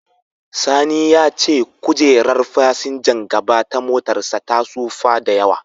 Sani ya ce kojerar fasinjan gaba ta motarsa ta tsufa da yawa.